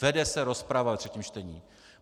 Vede se rozprava ve třetím čtení.